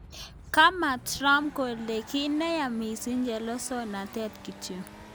Kama Trump kole ki neya missing chelesosnatet notok.